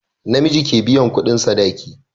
Namiji ke biyan kudin sadaki